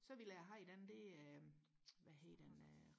så ville jeg havde den der ved hedder den øh